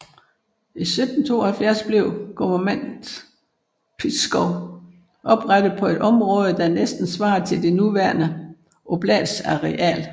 I 1772 blev Guvernement Pskov oprettet på et område der næsten svarer til den nuværende oblasts areal